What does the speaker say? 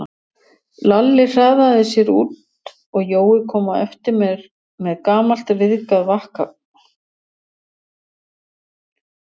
Lalli hraðaði sér út og Jói kom á eftir með gamalt, ryðgað vaskafat.